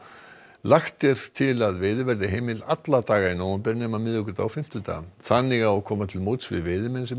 lagt er til að veiði verði heimil alla daga í nóvember nema miðvikudaga og fimmtudaga þannig á að koma til móts við veiðimenn sem